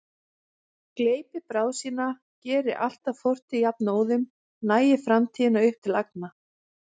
Gleypi bráð sína, geri allt að fortíð jafnóðum, nagi framtíðina upp til agna.